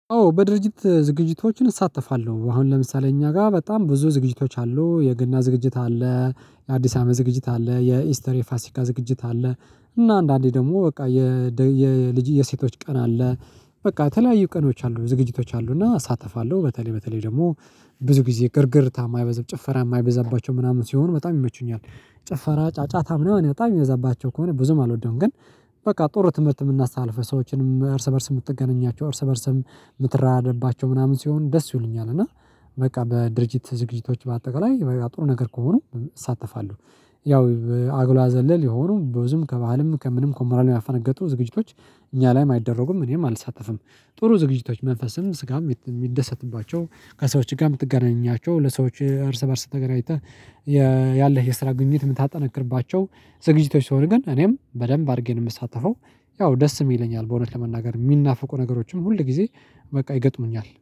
አዎ በድርጅት ዝግጅቶችን እሳተፋለሁ አሁን ለምሳሌ እኛ ጋር በጣም ብዙ ዝግጅቶች አሉ የገና ዝግጅት አለ። የአዲስ አመት ዝግጅት አለ የኢስተር የፋሲካ ዝግጅት አለ። እና አንዳንዴ ደግሞ በቃ የልጅ የሴቶች ቀና አለ። በቃ የተለያዩ ቀኖች አሉ ዝግጅቶች አሉ እና እሳተፋለሁ በተለይ በተለይ ደግሞ ብዙ ጊዜ ግርግርታ የማይበዛብ ጭፈራ የማይበዛባቸው ምናምን ሲሆን በጣም ይመቹኛል። ጭፈራ ጫጫታ ምናምን በጣም የሚበዛባቸው ከሆነ ብዙም አልወደውም። ግን በቃ ጥሩ ትምህርት የምናስተላልፈው ሰዎችንም እርስ በእርስ የምትገናኛቸው እርስ በእርስ የምትራደባቸው ምናምን ሲሆን ደስ ይሉኛል። እና በቃ በድርጅት ዝግጅቶች በአጠቃላይ በቃ ጥሩ ነገር ከሆኑ እሳተፋለሁ። ያው አጉላ ዘለል የሆኑ ብዙም ከባህልም ከምንም ከሞራልም ያፈነገጡ ዝግጅቶች እኛ ላይም አይደረጉም እኔም አልሳተፍም። ጥሩ ዝግጅቶች መንፈስም ስጋም የሚደሰትባቸው ከሰዎች ጋር የምትገናኛቸው ለሰዎች እርስ በእርስ ተገናኝተህ ያለህ የስራ ግንኙነት የምታጠነክርባቸው ዝግጅቶች ሲሆን ግን እኔም በደንብ አድርጌ ነው የምሳተፈው። ያው ደስም ይለኛል በእውነት ለመናገር የሚናፍቁ ነገሮችም ሁል ጊዜ በቃ ይገጥሙኛል።